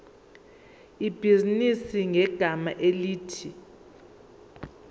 ibhizinisi ngegama elithi